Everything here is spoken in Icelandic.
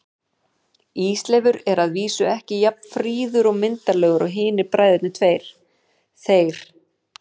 Ísleifur er að vísu ekki alveg jafn fríður og myndarlegur og hinir bræðurnir tveir, þeir